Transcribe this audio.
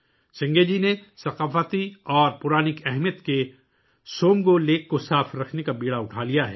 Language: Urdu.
سنگے جی نے ثقافتی اور افسانوی اہمیت کی حامل سومگو جھیل کو صاف رکھنے کا بیڑہ اٹھایا ہے